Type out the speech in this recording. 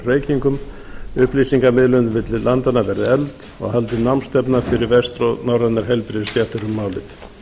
reykingum upplýsingamiðlun milli landanna verði efld og haldin námsstefna fyrir vestnorrænar heilbrigðisstéttir um málið